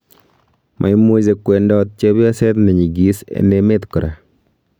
Maimuche kowendot chepyoset nenyigis en emet kora.